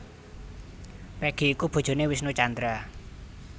Peggy iku bojoné Wisnu Tjandra